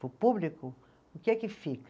Para o público, o que é que fica?